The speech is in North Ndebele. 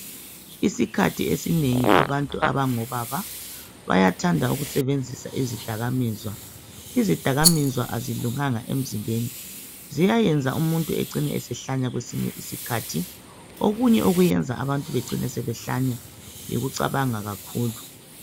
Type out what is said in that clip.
Isikhathi esinengi abantu abangobaba bayathanda ukusebenzisa izidakamizwa. Izidakamizwa azilunganga emzimbeni, ziyayenza umuntu ecina esehlanya kwesinye isikhathi. Okunye okuyenza abantu becine sebehlanya yikucabanga kakhulu.